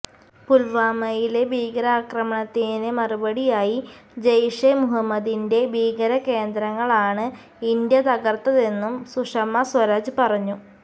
പുൽവാമയിലെ ഭീകരാക്രമണത്തിന് മറുപടിയായി ജെയ്ഷെ മുഹമ്മദിന്റെ ഭീകരകേന്ദ്രങ്ങളാണ് ഇന്ത്യ തകർത്തതെന്നും സുഷമ സ്വരാജ് പറഞ്ഞു